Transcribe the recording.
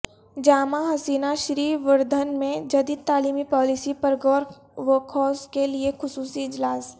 جامعہ Husaina Shrivardhan میں جدید تعلیمی پالیسی پرغوروخوض کےلیے خصوصی اجلاس